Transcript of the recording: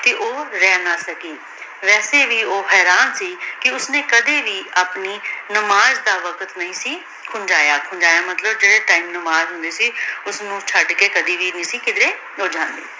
ਤੇ ਊ ਰਹ ਨਾ ਸਕੀ ਵੇਸੀ ਵੀ ਊ ਹੇਰਾਂ ਸੀ ਕੇ ਓਸ੍ਨੀ ਕਦੀ ਵੀ ਆਪਣੀ ਨਮਾਜ਼ ਦਾ ਵਾਕ਼ਾਤ ਨਾਈ ਸੀ ਕੁੰਜਾਯਾ ਮਤਲਬ ਜੇਰੀ ਟੀਮ ਨਮਾਜ਼ ਹੁੰਦੀ ਸੀ ਓਸਨੂ ਚੜ ਕੇ ਕਦੀ ਵੀ ਨਾਈ ਸੀ ਕਿਦ੍ਰੀ ਊ ਜਾਂਦੀ